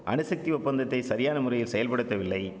அணுசக்தி ஒப்பந்தத்தை சரியான முறையில் செயல்படுத்தவில்லை